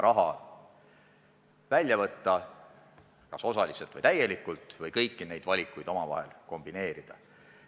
Raha on võimalik ka osaliselt või täielikult välja võtta, samuti on võimalik kõiki neid valikuid kombineerida.